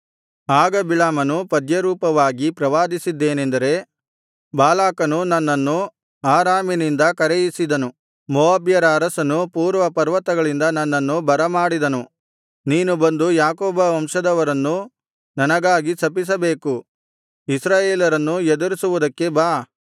ಆಗ ಬಿಳಾಮನು ಪದ್ಯರೂಪವಾಗಿ ಪ್ರವಾದಿಸಿದ್ದೇನೆಂದರೆ ಬಾಲಾಕನು ನನ್ನನ್ನು ಆರಾಮಿನಿಂದ ಕರೆಯಿಸಿದನು ಮೋವಾಬ್ಯರ ಅರಸನು ಪೂರ್ವ ಪರ್ವತಗಳಿಂದ ನನ್ನನ್ನು ಬರಮಾಡಿದನು ನೀನು ಬಂದು ಯಾಕೋಬ ವಂಶದವರನ್ನು ನನಗಾಗಿ ಶಪಿಸಬೇಕು ಇಸ್ರಾಯೇಲರನ್ನು ಎದುರಿಸುವುದಕ್ಕೆ ಬಾ